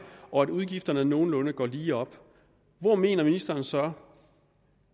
og at udgifterne nogenlunde går lige op hvor mener ministeren så